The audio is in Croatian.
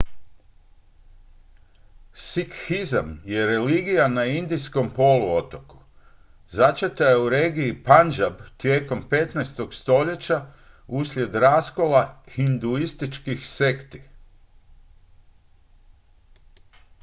sikhizam je religija na indijskom poluotoku začeta je u regiji punjab tijekom 15. stoljeća uslijed raskola hinduističkih sekti